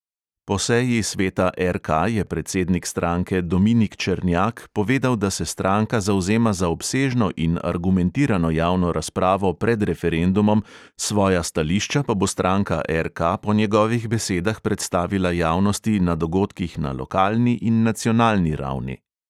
Po seji sveta RK je predsednik stranke dominik černjak povedal, da se stranka zavzema za obsežno in argumentirano javno razpravo pred referendumom, svoja stališča pa bo stranka RK po njegovih besedah predstavila javnosti na dogodkih na lokalni in nacionalni ravni.